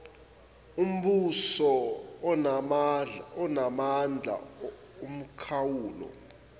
ombuso anamandla omkhawulo